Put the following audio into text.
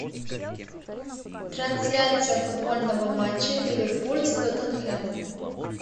трансляция футбольного матча ливерпуль с тоттенхем